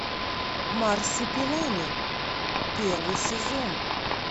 марсупилами первый сезон